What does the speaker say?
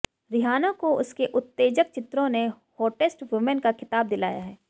Rihanna को उसके उत्तेजक चित्रों ने हॉटेस्ट वुमेन का खिताब दिलाया है